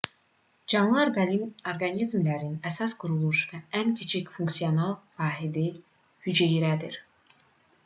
canlı orqanizmlərin əsas quruluş və ən kiçik funksional vahidi hüceyrədir